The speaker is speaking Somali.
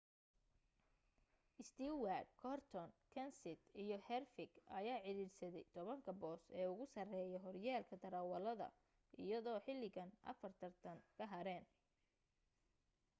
stewart gordon kenseth iyo harvick ayaa ciriirsaday tobanka boos ee ugu sareeya horyaalka darawalada iyadoo xilligan afar tartan ka hareen